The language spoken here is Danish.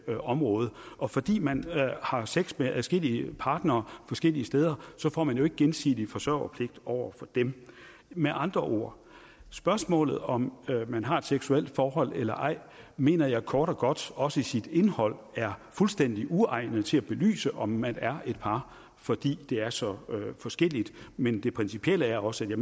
område og fordi man har sex med adskillige partnere forskellige steder får man jo ikke gensidig forsørgerpligt over for dem med andre ord spørgsmålet om man har et seksuelt forhold eller ej mener jeg kort og godt også i sit indhold er fuldstændig uegnet til at belyse om man er et par fordi det er så forskelligt men det principielle er også at